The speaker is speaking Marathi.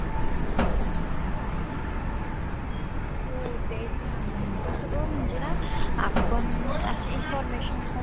हो तेच ना मग कसं गं म्हणजेना आपण आशी information